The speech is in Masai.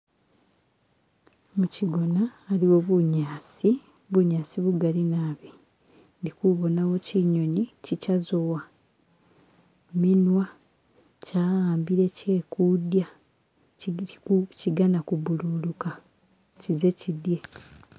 Mukyigona aliwo bunyaasi, bunyaasi bugali naabi, indi kubonna kyinyonyi kikyazowa minwa kyawambire kyekulya kyiganna kubbululuka kyize kyidye.